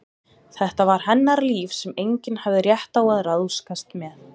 Þetta var hennar líf sem enginn hafði rétt á að ráðskast með.